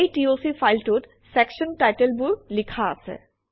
এই টক ফাইলটোত চেকচন টাইটেলবোৰ লিখা আছে